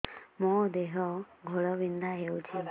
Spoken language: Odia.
ମୋ ଦେହ ଘୋଳାବିନ୍ଧା ହେଉଛି